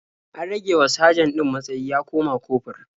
An ragewa sajan ɗin matsayi ya koma kofur.